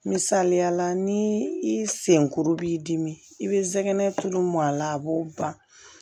Misaliyala ni i senkuru b'i dimi i bɛ zɛgɛnɛ tulu mɔn a la a b'o ban